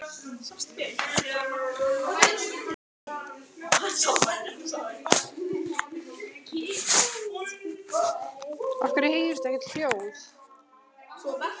Líndís, hvað heitir þú fullu nafni?